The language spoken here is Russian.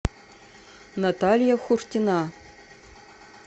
наталья хуртина